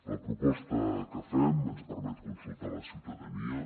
la proposta que fem ens permet consultar la ciutadania